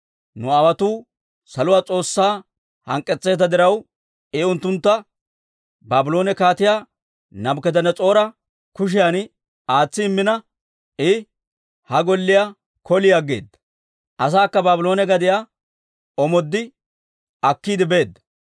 Nu aawotuu saluwaa S'oossaa hank'k'etseedda diraw, I unttuntta Baabloone Kaatiyaa Naabukadanas'oora kushiyan aatsi Immina, I ha Golliyaa koli aggeeda; asaakka Baabloone gadiyaa omoodoo akkiide beedda.